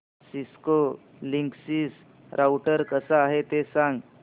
Cisco Linksys router कसा आहे ते सांग